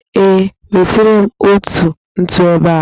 Ee, wetere m ntu ebe a